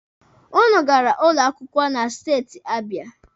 Ụnụ gara ụlọ akwụkwọ na steeti Abịa.